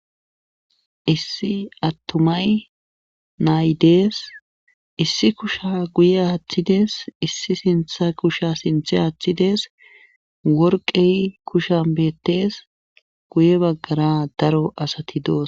issi attumay naydees issi kusha guye aaththides issi sintha kusha sinthe aaththides worqey kushan beettes guye baggara daro asati doos